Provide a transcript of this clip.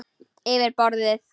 Yfir borðið.